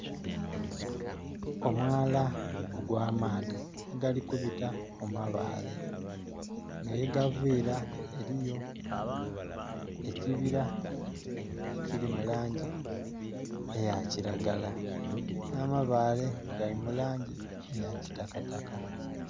Omwala ogw'amaadhi oguli kubita mu mabaale enho yegaviira eriyo ekibira ekiri mu langi eyakilagala, n'amabaale gali mu langi eya kitakataka.